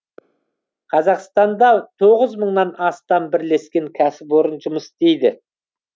қазақстанда тоғыз мыңнан астам бірлескен кәсіпорын жұмыс істейді